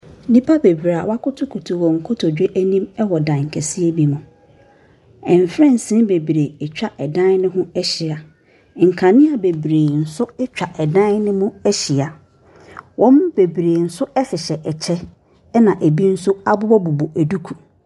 Nipa bebiri a wa koto wɔ wɔn kotodwe mu anim wɔ dan kɛseɛ bi mu ɛnfensi bebiri ɛtwa ɛdan no ho ɛhyɛ nkanea bebiri ɛtwa dan no hɔn ɛhyɛ ɔmu bebiri ɛhyehyɛ kyɛw ɛna bi mu nso abɔbɔ duku.